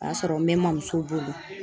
O y'a sɔrɔ n bɛ ma muso bolo.